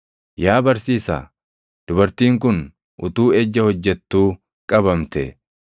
Yesuusiin akkana jedhan; “Yaa barsiisaa, dubartiin kun utuu ejja hojjettuu qabamte.